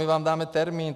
My vám dáte termín.